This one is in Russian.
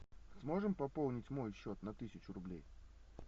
сможем пополнить мой счет на тысячу рублей